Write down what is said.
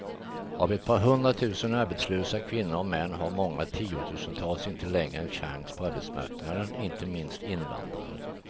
Av ett par hundratusen arbetslösa kvinnor och män har många tiotusental inte längre en chans på arbetsmarknaden, inte minst invandrare.